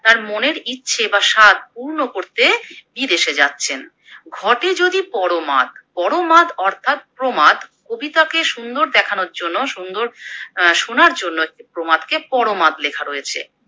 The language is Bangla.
তার মনের ইচ্ছে বা সাধ পূর্ণ করতে বিদেশে যাচ্ছেন। ঘটে যদি পর মাদ, পর মাদ অর্থাৎ প্রমাদ, কবিতাকে সুন্দর দেখানোর জন্য সুন্দর অ্যা শোনার জন্য প্রমাদ কে পর মাদ লেখা রয়েছে।